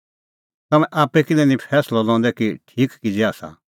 तम्हैं आप्पै किल्है निं फैंसलअ लंदै कि ठीक किज़ै आसा